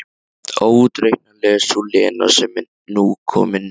Óútreiknanleg sú Lena sem nú er komin heim.